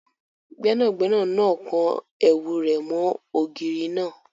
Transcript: Gbẹ́nàgbẹ́nà náà kan ẹ̀wù rẹ̀ mọ́ ògiri náà